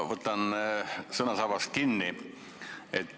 Ma võtan sõnasabast kinni.